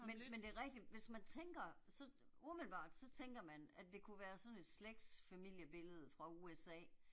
Men men det er rigtigt, hvis man tænker så umiddelbart så tænker man at det kunne være sådan et slægtsfamiliebillede fra USA